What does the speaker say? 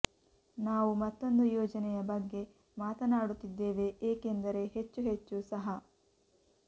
ನಾವು ಮತ್ತೊಂದು ಯೋಜನೆಯ ಬಗ್ಗೆ ಮಾತನಾಡುತ್ತಿದ್ದೇವೆ ಏಕೆಂದರೆ ಹೆಚ್ಚು ಹೆಚ್ಚು ಸಹ